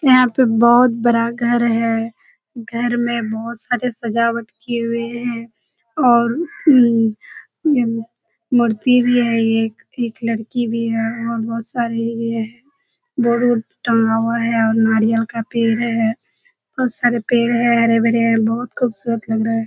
यहाँ पे बहुत बड़ा घर है। घर में बहुत सारे सजावट किये हुये हैं और उम्म उम्म मूर्ति भी है एक। एक लड़की भी है और बहुत सारे ये बोर्ड उर्ड टँगा हुआ है और नरियल का पेड़ है। बहुत सारे पेड़ हैं हरे -भरे। बहुत खूबसूरत लग रहा है।